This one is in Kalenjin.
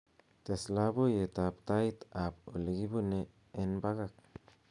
tees loboiyet ab tait ab olegibune en bakak